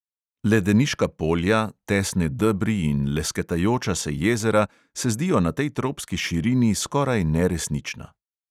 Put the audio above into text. Ledeniška polja, tesne debri in lesketajoča se jezera se zdijo na tej tropski širini skoraj neresnična.